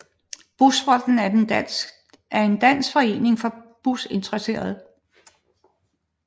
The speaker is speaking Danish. Busfronten er en dansk forening for busintereserede